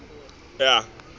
yebantfu